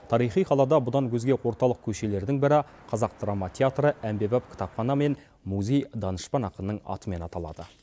тарихи қалада бұдан өзге орталық көшелердің бірі қазақ драма театры әмбебап кітапхана мен музей данышпан ақынның атымен аталады